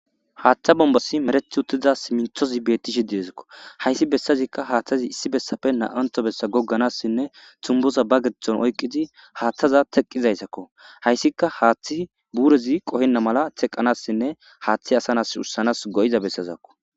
haaththa bombasi merethi uttiza siminthozi beetti shidiezakko hayssi bessazikka haaththazi issi bessafe na7anto bessa gogganassinne tumboza ba geththon oyqqizi haaththaza teqqizaysakko hayssika haaththi buurezi qohenna mala teqqanassinne haaththi asanas ussanas go7iza bessazakko